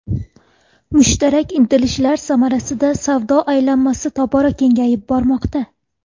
Mushtarak intilishlar samarasida savdo aylanmasi tobora kengayib bormoqda.